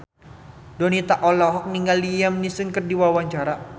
Donita olohok ningali Liam Neeson keur diwawancara